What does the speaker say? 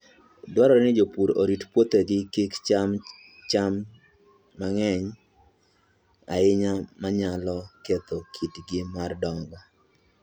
Dwarore ni jopur orit puothegi kik cham cham cham mang'eny ahinya manyalo ketho kitgi mar dongo.